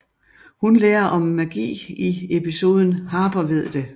Hun lærer om magi i episoden Harper ved det